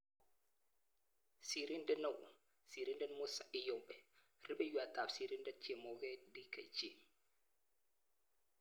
Sirindet neoo-Sirindet Musa Iyombe-Rupeiywot ap Sirindet chemoget-Dkg